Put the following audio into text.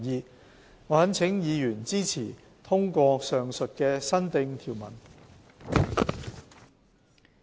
我懇請委員支持通過上述的新訂條文。